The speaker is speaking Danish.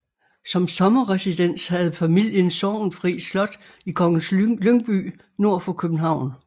Som sommerresidens havde familien Sorgenfri Slot i Kongens Lyngby nord for København